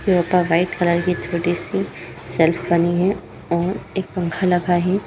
यहाँ पर white colour की छोटी सी शेल्फ बनी है और एक पंखा लगा है।